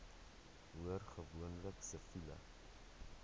hoor gewoonlik siviele